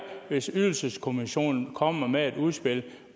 hvis ydelseskommissionen kommer med et udspil